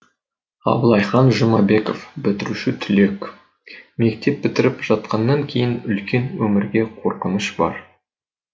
абылайхан жұмабеков бітіруші түлек мектеп бітіріп жатқанан кейін үлкен өмірге қорқыныш бар